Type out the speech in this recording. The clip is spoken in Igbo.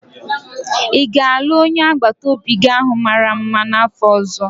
Ị ga-alụ onye agbata obi gi ahụ mara mma n'afọ ọzọ?